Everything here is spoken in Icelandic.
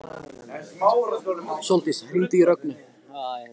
Sóldís, hringdu í Rögnu.